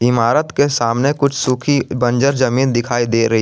इमारत के सामने कुछ सुखी बंजर जमीन दिखाई दे रही--